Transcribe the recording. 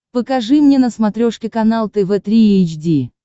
покажи мне на смотрешке канал тв три эйч ди